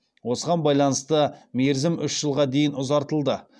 осыған байланысты мерзім үш жылға дейін ұзартылды